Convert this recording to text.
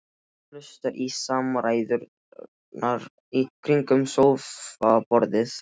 Hlustar á samræðurnar í kringum sófaborðið.